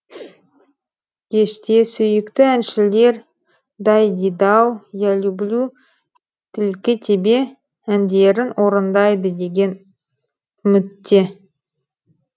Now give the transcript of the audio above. кеште сүйікті әншілер дайдидау я люблю тільки тебе әндерін орындайды деген үмітте